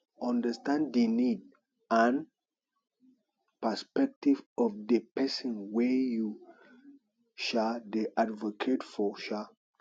understand di need and perspective of di person wey you um dey advocate for um